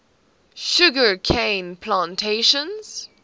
sugar cane plantations